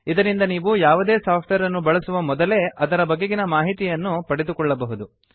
ಇದರಿಂದ ನೀವು ಯಾವುದೇ ಸಾಫ್ಟ್ವೇರ್ ಅನ್ನು ಬಳಸುವ ಮೊದಲೇ ಅದರ ಬಗೆಗಿನ ಮಾಹಿತಿಯನ್ನು ಪಡೆದುಕೊಳ್ಳಬಹುದು